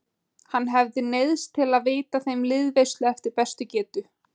Hann hafði neyðst til að veita þeim liðveislu eftir bestu getu.